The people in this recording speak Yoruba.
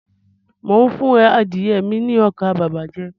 Mo n fún adìye mi ní ọkà bàbà jẹ